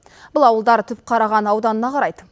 бұл ауылдар түпқараған ауданына қарайды